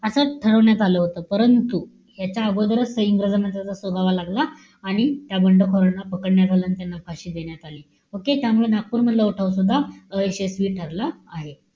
असं ठरवण्यात आलं होतं. परंतु, याच्याअगोदरच इंग्रजांना त्याचा सुगाव लागला. आणि त्या बंडखोरांना पकडण्यात आलं. आणि त्यांना फाशी देण्यात आली. Okay? त्यामुळे नागपूरमधला उठाव सुद्धा अयशस्वी ठरला आहे.